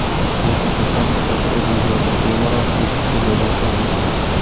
Lekin inson istasa o‘z videosini bemalol YouTube’ga joylashi mumkin.